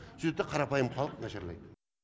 сүйтеді да қарапайым халық нашарлайды